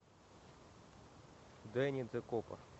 денни де копа